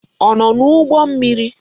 Ọ nọ n'ụgbọ mmiri?